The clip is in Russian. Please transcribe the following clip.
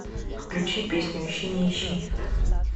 включи песню ищи не ищи